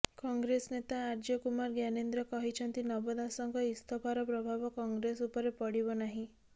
କଂଗ୍ରେସ ନେତା ଆର୍ଯ୍ୟ କୁମାର ଜ୍ଞାନେନ୍ଦ୍ର କହିଛନ୍ତି ନବ ଦାସଙ୍କ ଇସ୍ତଫାର ପ୍ରଭାବ କଂଗ୍ରେସ ଉପରେ ପଡ଼ିବ ନାହିଁ